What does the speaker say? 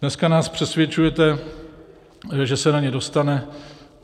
Dneska nás přesvědčujete, že se na ně dostane.